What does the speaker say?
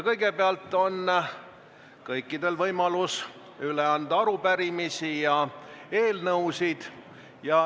Kõigepealt on kõikidel võimalus üle anda arupärimisi ja eelnõusid.